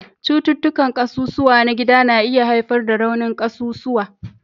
Cututtukan ƙasusuwa na gida na iya haifar da raunin ƙasusuwa